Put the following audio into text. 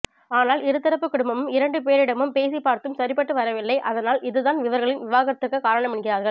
ஆனால் இருதரப்பு குடும்பமும் இரண்டு பேரிடமும் பேசி பார்த்தும் சரிப்பட்டு வரவில்லை அதனால் இதுதான் இவர்களின் விவாகரத்துக்கு காரணம் என்கிறார்கள்